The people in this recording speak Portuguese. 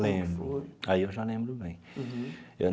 Lembro, aí eu já lembro bem eu.